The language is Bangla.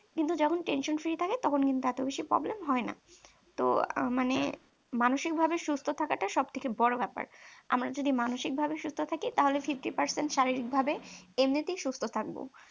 কিন্তু যখন tension free থাকে তখন কিন্তু এত বেশি problem হয় না তো মানে মানসিকভাবে সুস্থ থাকাটা সবথেকে বড় ব্যাপার আমরা যদি মানসিকভাবে সুস্থ থাকি তাহলে fifty percent শারীরিকভাবে এমনিতেই সুস্থ থাকবো।